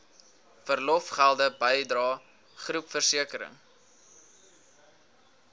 verlofgelde bydrae groepversekering